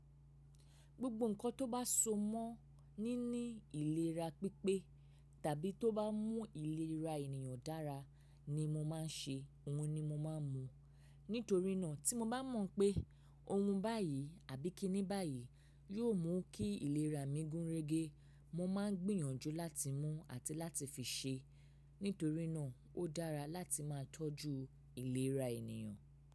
Gbogbo nǹkan tó bá so mọ́ níní ìlera pípé tàbí tó bá mún ìlera ènìyàn dára ni mo máa ń ṣe, òhun ni mo máa ń mún. Nítorínà tí mo bá mọ̀ pé ohun báyìí àbí kíní báyìí yóò mú kí ìlera mi gúnrégé, mo máa ń gbìyànjú láti mú àti láti fi ṣe. Nítorínà ó dára láti máa tọ́jú ìlera ènìyàn.